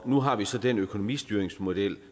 nu har vi så den økonomistyringsmodel